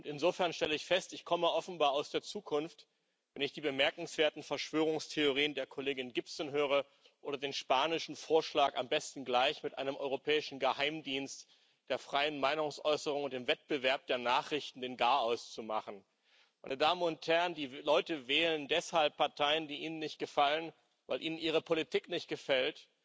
Insofern stelle ich fest Ich komme offenbar aus der Zukunft, wenn ich die bemerkenswerten Verschwörungstheorien der Kollegin Gibson höre oder den spanischen Vorschlag, am besten gleich mit einem europäischen Geheimdienst der freien Meinungsäußerung und dem Wettbewerb der Nachrichten den Garaus zu machen. Meine Damen und Herren, die Leute wählen deshalb Parteien, die Ihnen nicht gefallen, weil ihnen Ihre Politik nicht gefällt.